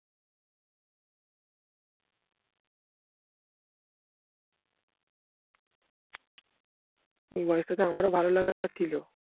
এই বয়সটাতে আমার ও ভালো লাগা ছিল